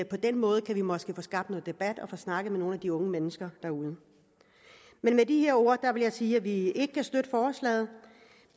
på den måde måske kan få skabt noget debat og få snakket med nogle af de unge mennesker derude med de her ord vil jeg sige at vi ikke kan støtte forslaget